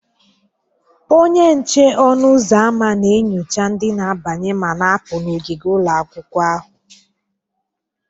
Onye nche ọnụ ụzọ ámá na-enyocha ndị na-abanye ma na-apụ n'ogige ụlọ akwụkwọ ahụ.